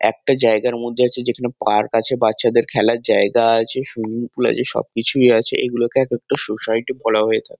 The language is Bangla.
একটা জায়গার মধ্যে আছে যেখানে পার্ক আছে। বাচ্চাদের খেলার জায়গা আছে সুইমিং পুল আছে সবকিছুই আছে। এগুলোকে একেকটা সোসাইটি বলা হয়ে থাকে।